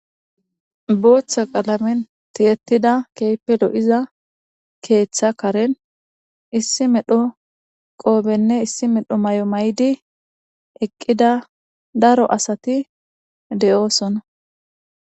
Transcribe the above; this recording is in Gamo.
Booththa qalamen tiyettida keeppe lo'iza keeththa karen issi medho qoobenne issi medho may'o may'di eqqida daro asati de'oosonna.